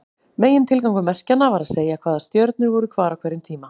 Megintilgangur merkjanna var að segja hvaða stjörnur voru hvar á hverjum tíma.